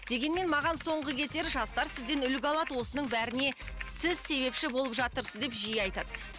дегенмен маған соңғы кездері жастар сізден үлгі алады осының бәріне сіз себепші болып жатырсыз деп жиі айтады